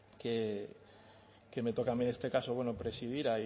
que me toca a mí en este caso bueno presidir